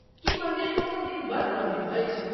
की मन्दिर कोनो दिन बन्द रहैत अछि?